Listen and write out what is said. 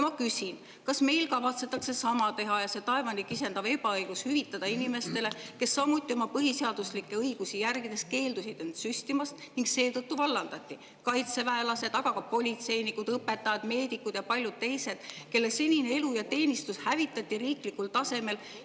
Ma küsin, kas meil kavatsetakse sama teha ja see taevani kisendav ebaõiglus hüvitada inimestele, kes oma põhiseaduslikke õigusi järgides keeldusid end süstimast ning seetõttu vallandati – kaitseväelased, aga ka politseinikud, õpetajad, meedikud ja paljud teised, kelle senine elu ja teenistus hävitati riiklikul tasemel.